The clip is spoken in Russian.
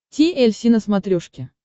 ти эль си на смотрешке